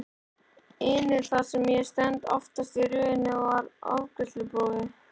inu þar sem ég stend, aftastur í röðinni við afgreiðsluborðið.